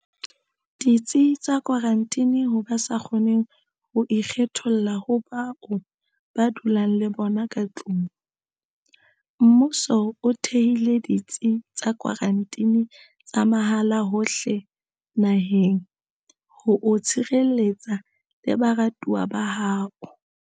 Ditsi tsa Kwaranteni Ho ba sa kgoneng ho ikgetholla ho bao ba dulang le bona ka tlung, mmuso o thehile ditsi tsa kwaranteni tsa mahala hohle naheng ho o tshireletsa le baratuwa ba hao.